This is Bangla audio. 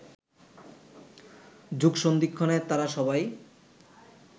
যুগসন্ধিক্ষণে তারা সবাই